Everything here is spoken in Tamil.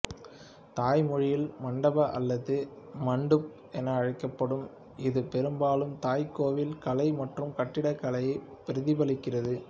தாய் மொழியில் மணடபா அல்லது மண்டூப் என அழைக்கப்படும் இது பெரும்பாலும் தாய் கோவில் கலை மற்றும் கட்டிடக்கலையை பிரதிபளிக்கிறது